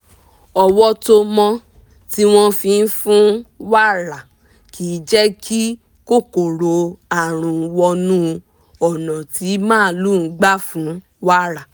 ọwọ́ tó mọ́ tí wọ́n fi fún wàrà kì jẹ́ kí kòkòrò àrùn wọnú ọ̀nà tí màlúù gbà fún wàrà